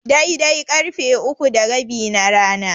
Daidai karfe uku da rabi na rana.